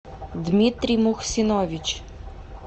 дмитрий мухсинович